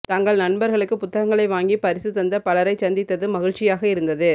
தங்கள் நண்பர்களுக்குப் புத்தகங்களை வாங்கிப் பரிசு தந்த பலரைச் சந்தித்தது மகிழ்ச்சியாக இருந்தது